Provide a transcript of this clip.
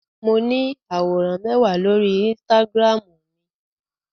Mo ní àwòrán mẹ́wàá lórí Instagram mi.